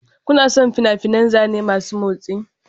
Kuna son fina-finan zane masu motsi?